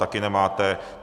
Taky nemáte.